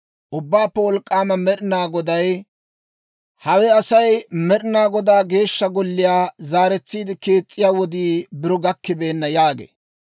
Ubbaappe Wolk'k'aama Med'inaa Goday, «Hawe asay, ‹Med'inaa Godaa Geeshsha Golliyaa zaaretsiide kees's'iyaa wodii biro gakkibeenna› yaagee.»